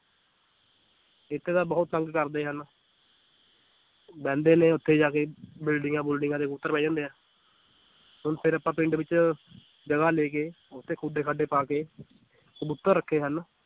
ਇੱਥੇ ਤਾਂ ਬਹੁਤ ਤੰਗ ਕਰਦੇ ਹਨ ਬਹਿੰਦੇ ਨੇ ਉੱਥੇ ਜਾ ਕੇ ਬਿਲਡਿੰਗਾਂ ਬੁਲਡਿੰਗਾਂ ਦੇ ਉੱਪਰ ਬਹਿ ਜਾਂਦੇ ਆ ਹੁਣ ਫਿਰ ਆਪਾਂ ਪਿੰਡ ਵਿੱਚ ਜਗ੍ਹਾ ਲੈ ਕੇ ਉੱਥੇ ਖੁੱਡੇ ਖਾਡੇ ਪਾ ਕੇ ਕਬੂਤਰ ਰੱਖੇ ਹਨ,